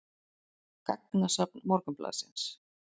Gagnasafn Morgunblaðsins.